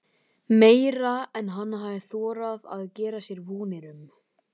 Meira en hann hafði þorað að gera sér vonir um.